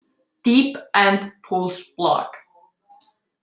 Deep End Pools Blog.